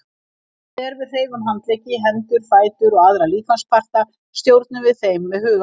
Þegar við hreyfum handleggi, hendur, fætur og aðra líkamsparta stjórnum við þeim með huganum.